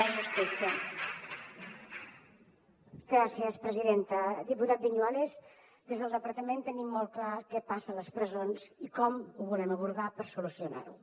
diputat viñuales des del departament tenim molt clar què passa a les presons i com ho volem abordar per solucionar ho